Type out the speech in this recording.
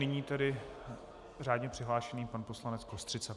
Nyní tedy řádně přihlášený pan poslanec Kostřica.